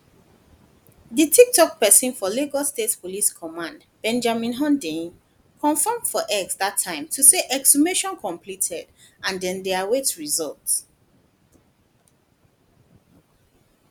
di toktok pesin for lagos state police command benjamin hundeyin confam for x dat time to say exhumation completed and dem dey await result